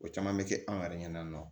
O caman bɛ kɛ an yɛrɛ ɲɛna